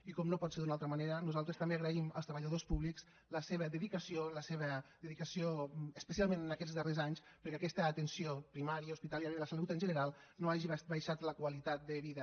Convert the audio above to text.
i com no pot ser d’una altra manera nosaltres també agraïm als treballadors públics la seva dedicació especialment en aquests darrers anys perquè aquesta atenció primària hospitalària de la salut en general no hagi abaixat la qualitat de vida